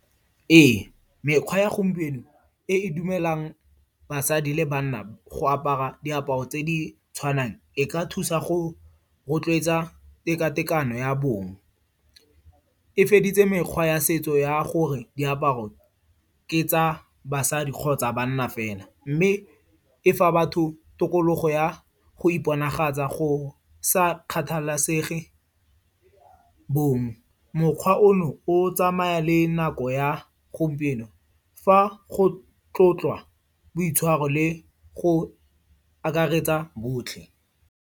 Ee, mekgwa ya gompieno e e dumelang basadi le banna go apara diaparo tse di tshwanang, e ka thusa go rotloetsa tekatekano ya bong. E feditse mekgwa ya setso ya gore diaparo ke tsa basadi kgotsa banna fela. Mme e fa batho tokologo ya go iponagatsa go sa kgathalesege bong. Mokgwa ono o tsamaya le nako ya gompieno fa go tlotlwa boitshwaro le go akaretsa botlhe.